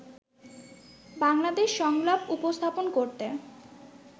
বাংলাদেশ সংলাপ উপস্থাপন করতে